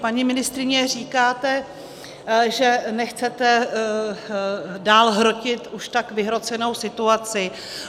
Paní ministryně, říkáte, že nechcete dál hrotit už tak vyhrocenou situaci.